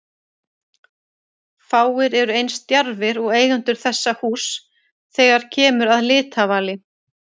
Fáir eru eins djarfir og eigendur þessa húss þegar kemur að litavali.